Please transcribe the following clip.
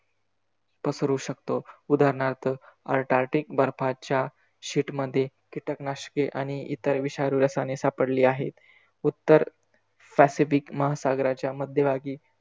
पसरू शकतो, उदाहरणार्थ अंटार्क्टिक बर्फाच्या shield मध्ये कीटकनाशके आणि इतर विषारी रसायने सापडली आहे. उत्तर पॅसिफिक महासागराच्या मध्यभागी,